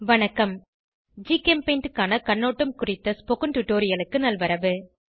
வணக்கம் ஜிகெம்பெயிண்ட் க்கான கண்ணோட்டம் குறித்த டுடோரியலுக்கு நல்வரவு